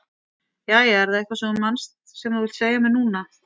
Jæja, er það eitthvað sem þú manst sem þú vilt segja mér núna?